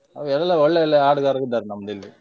ಎಲ್ಲ ಒಳ್ಳೆ ಒಳ್ಳೆ ಹಾಡುಗಾರರು ಇದ್ದಾರೆ ನಮ್ದು ಇಲ್ಲಿ.